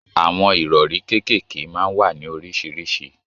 Àwọn ìrọ̀rí kékèké máa ń wà ní oríṣiríṣi